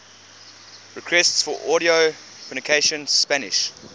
requests for audio pronunciation spanish